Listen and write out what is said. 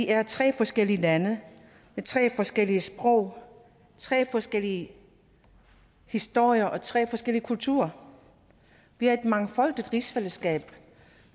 er tre forskellige lande med tre forskellige sprog tre forskellige historier og tre forskellige kulturer vi er et mangfoldigt rigsfællesskab